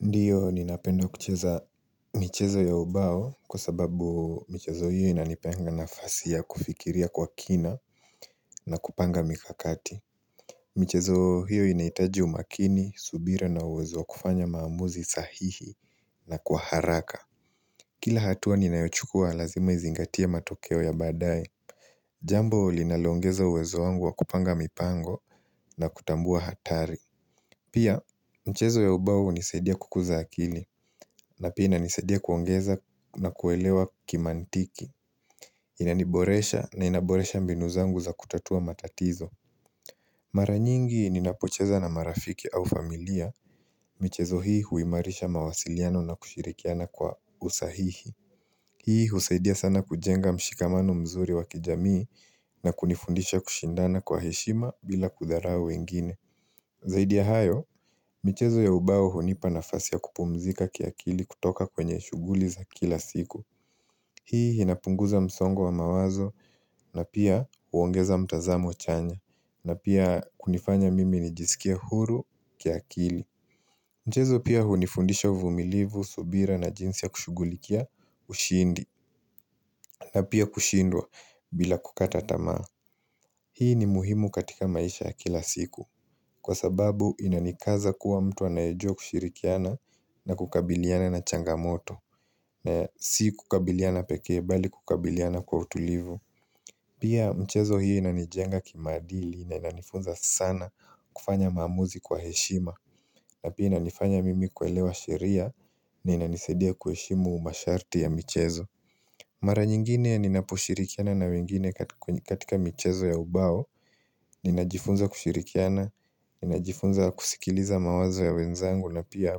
Ndio ninapenda kucheza michezo ya ubao kwa sababu michezo hiyo inanipeanga nafasia ya kufikiria kwa kina na kupanga mikakati michezo hiyo inahitaji umakini, subira na uwezo wa kufanya maamuzi sahihi na kwa haraka Kila hatua ninayochukua lazima izingatie matokeo ya badaye Jambo linaloongeza uwezo wangu wa kupanga mipango na kutambua hatari Pia, mchezo ya ubau hunisaidia kukuza akili na pia inanisaidia kuongeza na kuelewa kimaantiki Inaniboresha na inaboresha mbinu zangu za kutatua matatizo Mara nyingi ninapocheza na marafiki au familia, michezo hii huimarisha mawasiliano na kushirikiana kwa usahihi Hii husaidia sana kujenga mshikamano mzuri wakijamii na kunifundisha kushindana kwa heshima bila kudharau wengine Zaidi ya hayo, michezo ya ubao hunipa nafasi ya kupumzika kiakili kutoka kwenye shughuli za kila siku. Hii inapunguza msongo wa mawazo na pia huongeza mtazamo chanya na pia hunifanya mimi nijisikie huru kiakili. Mchezo pia hunifundisha uvumilivu, subira na jinsi ya kushugulikia ushindi na pia kushindwa bila kukata tamaa. Hii ni muhimu katika maisha ya kila siku. Kwa sababu inanikaza kuwa mtu anayejua kushirikiana na kukabiliana na changamoto. Si kukabiliana pekee bali kukabiliana kwa utulivu Pia mchezo hii inanijenga kimaadili na inanifunza sana kufanya maamuzi kwa heshima na pia inanifanya mimi kuelewa sheria na inanisaidia kuheshimu masharti ya michezo Mara nyingine ninapushirikiana na wengine katika mchezo ya ubao Ninajifunza kushirikiana, ninajifunza kusikiliza mawazo ya wenzangu na pia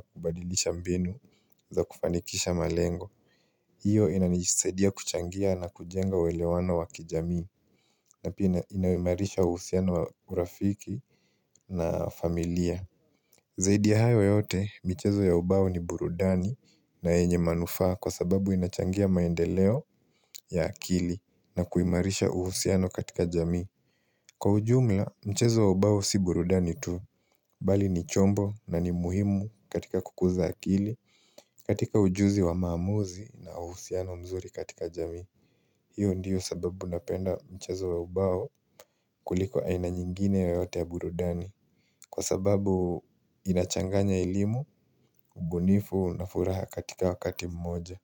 kubadilisha mbinu za kufanikisha malengo hiyo inanisidia kuchangia na kujenga uelewano wa kijamii na pia inahimarisha uhusiano wa urafiki na familia Zaidi ya hayo yote, michezo ya ubao ni burudani na yenye manufaa kwa sababu inachangia maendeleo ya akili na kuimarisha uhusiano katika jami Kwa ujumla, mchezo wa ubao si burudani tu, bali ni chombo na ni muhimu katika kukuza akili, katika ujuzi wa maamuzi na uhusiano mzuri katika jami. Hiyo ndiyo sababu napenda mchezo wa ubao kuliko aina nyingine yoyote ya burudani. Kwa sababu inachanganya elimu, ubunifu na furaha katika wakati mmoja.